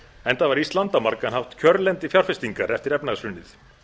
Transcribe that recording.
enda var ísland á margan hátt kjörlendi fjárfestingar eftir efnahagshrunið